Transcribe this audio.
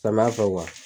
Samiya fɛ